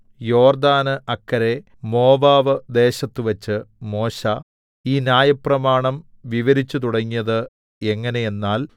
യോർദ്ദാന് അക്കരെ മോവാബ് ദേശത്തുവച്ച് മോശെ ഈ ന്യായപ്രമാണം വിവരിച്ചുതുടങ്ങിയത് എങ്ങനെയെന്നാൽ